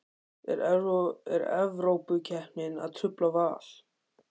Er Evrópukeppnin að trufla Val?